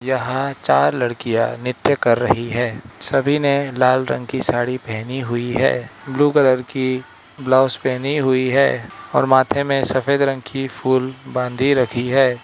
यहां चार लड़कियां नृत्य कर रही है सभी ने लाल रंग की साड़ी पहनी हुई है ब्लू कलर की ब्लाउज पहनी हुई है और माथे में सफेद रंग की फुल बांधी रखी है।